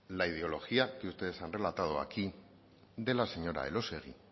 la ideología que ustedes han relatado aquí de la señora elósegui